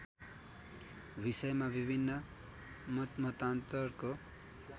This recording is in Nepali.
विषयमा विभिन्न मतमतान्तरको